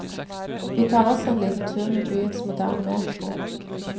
Vi tar også en liten tur med byens moderne metro.